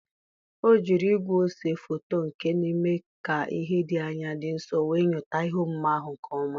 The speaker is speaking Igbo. O jiri igwe ose foto nke n'eme ka ihe dị anya dị nso wee nyota ihe omume ahụ nke ọma.